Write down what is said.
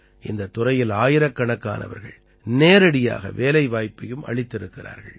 இந்தத் துறையில் ஆயிரக்கணக்கானவர்கள் நேரடியாக வேலைவாய்ப்பையும் அளித்திருக்கிறார்கள்